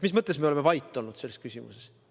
Mis mõttes me oleme vait olnud selles küsimuses?